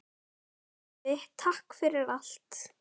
Afi, takk fyrir allt!